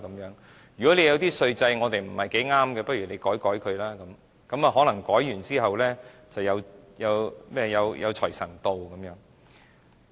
如果我們的稅制不太適合他們，不如修改一下，可能修改後，便能賺取巨額稅收。